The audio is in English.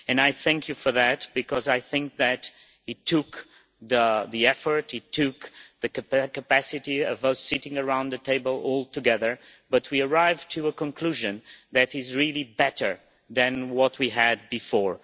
I thank you for that because I think that it took the effort, it took the capacity of us sitting around the table all together, but we arrived at a conclusion that is really better than what we had before.